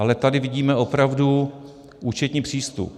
Ale tady vidíme opravdu účetní přístup.